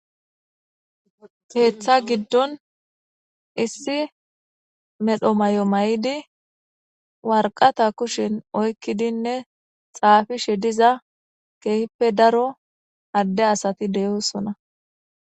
Keeththa giddon issi medho mayo mayidi waraqata kushen oykidinne xaafishe diza keehippe daro adde asati de'osonna.